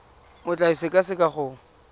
o tla e sekaseka go